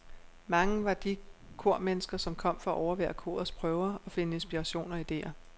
Mange var de kormennesker, som kom for at overvære korets prøver og finde inspiration og idéer.